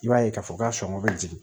I b'a ye k'a fɔ ka sɔngɔ bɛ jigin